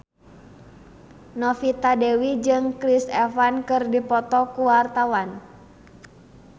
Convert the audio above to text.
Novita Dewi jeung Chris Evans keur dipoto ku wartawan